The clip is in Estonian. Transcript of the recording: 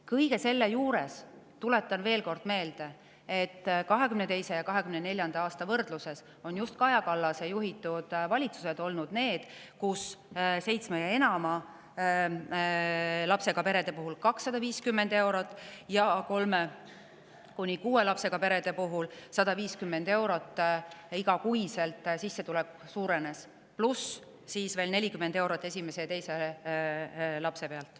Kõige selle juures tuletan veel kord meelde, et 2022. ja 2024. aasta võrdluses on just Kaja Kallase juhitud valitsused olnud need, kelle ajal suurenes igakuine sissetulek seitsme ja enama lapsega perede puhul 250 eurot ja kolme kuni kuue lapsega perede puhul 150 eurot, pluss veel 40 eurot esimese ja teise lapse pealt.